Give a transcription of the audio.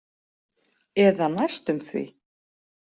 Eða næstum því.